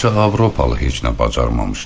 Təkcə Avropalı heç nə bacarmamışdı.